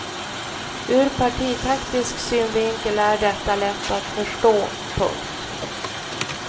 Ur partitaktisk synvinkel är detta lätt att förstå. punkt